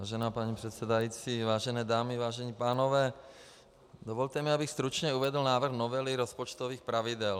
Vážená paní předsedající, vážené dámy, vážení pánové, dovolte mi, abych stručně uvedl návrh novely rozpočtových pravidel.